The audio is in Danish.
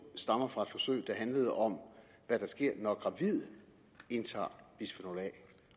stammer fra et forsøg der handler om hvad der sker når gravide indtager bisfenol a